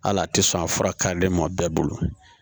Hali a tɛ sɔn a fura kaden ma bɛɛ bolo